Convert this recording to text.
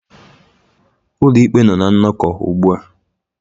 Ụlọikpe nọ na nnọkọ ugbu a